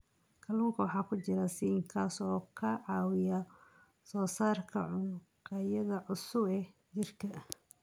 Kalluunka waxaa ku jira zinc, kaas oo ka caawiya soo saarista unugyada cusub ee jirka.